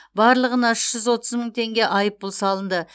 барлығына үш жүз отыз мың теңге айыппұл салынды